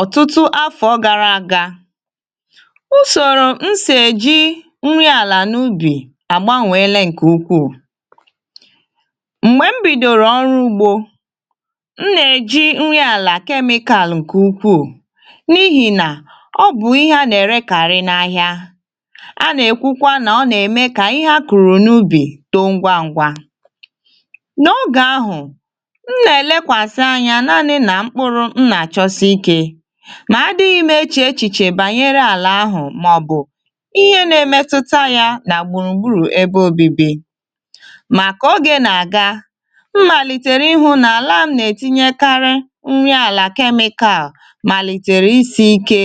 Ọ̀tụtụ afọ gara aga, usoro nsị eji nri àlà n’ubì agbanweela nke ukwu. Mgbe m bidoro ọrụ ugbo, m na-eji nri àlà kemikal nke ukwu, n’ihi na ọ bụ ihe a na-erekarị n’ahịa. A na-ekwukwa na ọ na-eme ka ihe a kụrụ n’ubì too ngwa ngwa. Na oge ahụ, m na-achọsi ike, ma adịghị m eche echiche banyere àlà ahụ ma ọ̀ bụ ihe na-emetụta ya na gbùrùgbùrù ebe obibi. Maka oge na-aga, amalitela m ịhụ na àlà na-etinyekarị nri àlà kemikal amalitela isi ike.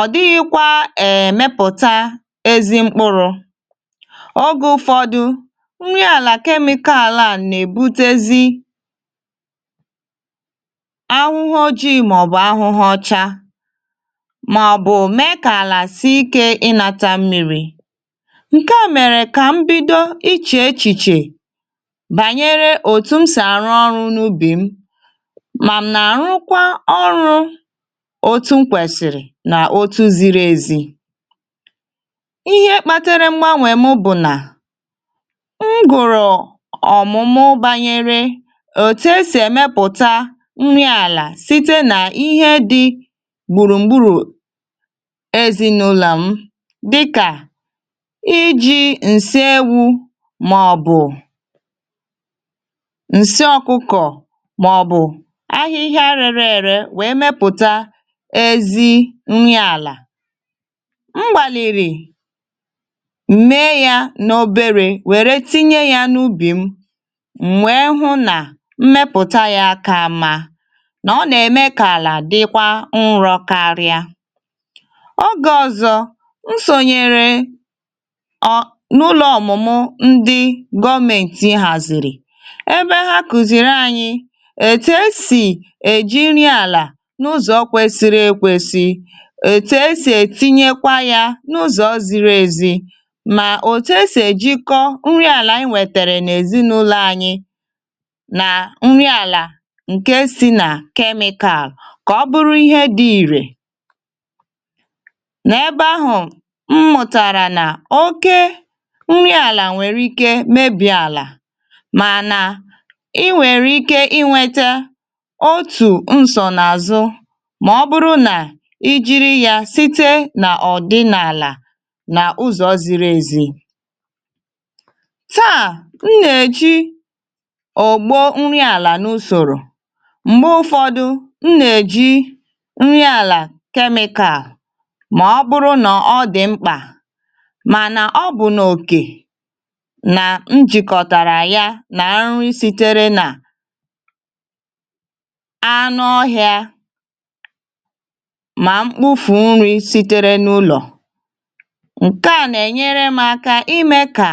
Ọ dịghịkwa emepụta ezi mkpụrụ ọzọ. Ụfọdụ nri àlà kemikal na-ebutezi ahụhụ ojii, maọbụ ahụhụ ọcha, maọbụ mee ka àlà sie ike inata mmiri. Nke a mere ka m bido iche echiche banyere otu m si arụ ọrụ n’ubì m. Ma m na-arụkwa ọrụ otu m kwesiri otu ziri ezi. Ihe kpatara mgbagbanwe m bụ na m gụrụ ọmụmụ banyere otu e si emepụta humus n’ala site n’ihe dị gburugburu. Ezinaụlọ m, dịka iji nsị ewu, maọbụ nsị ọkụkọ, maọbụ ahịhịa rèrèèrè, wee mepụta ezi humus n’ala. M gbalịrì mee ya n’ọbèré, wèrè tinye ya n’ubì m, wee hụ na ọ na-eme ka àlà dịkwa nrọ karịa. O gasozị, m sonyere otu n'ụlọ ọmụmụ ndị gọmenti hazịrị, ebe ha kụziri anyị: etu esi eji nri àlà n’ụzọ kwesiri ekwesi, etu esi etinye ya n’ụzọ ziri ezi, na otu esi ejikọta nri àlà wetara n’èzinụlọ anyị ka ọ bụrụ ihe dị irè. N’ebe ahụ, m mụtara na oke nri àlà nwere ike mebie àlà, ma na i nwekwara ike inweta otu nsọ n’azụ ma ọ bụrụ na i jiri ya site n’ọdịnala na ụzọ ziri ezi. Taa, m na-eji ọgbo nri àlà n’usọ̀rọ̀. Ma ụfọdụ, m na-eji nri àlà kemikal, ma ọ kpụrụ na ọ dị mkpa. Mànà, ọ bụ na òkè na m jikọtara ya na nri sitere n’anụ ọhịa, na mkpụrụ nri sitere n’ụlọ. Nke a na-enyere m aka ime ka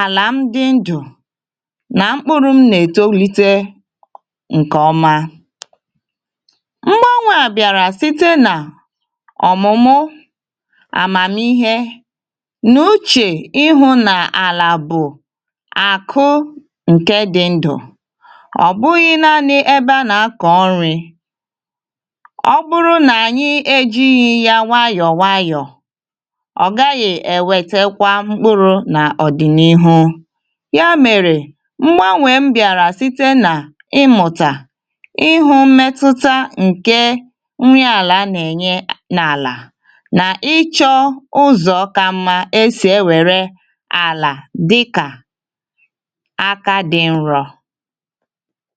àlà m dị ndụ, na mkpụrụ m na-eto. Lete mgbagbanwe a bịara site n’omụmụ amamịhe. N’uche m, ahụ na àlà bụ akụ nke dị ndụ, ọ bụghị naanị ebe a na-akọ ọrịa. Ọ bụrụ na anyị ejighị ya nwayọ nwayọ, ọ gaghị ewepụta mkpụrụ n’ọdịnihu. Ya mere, mgbanwe m bịara site na ịmụtakwu, ịhụ mmetụta nke nri àlà na-enye n’àlà, na ịchọ ụzọ ka mma esi ewepụ àlà dịka aka dị nro.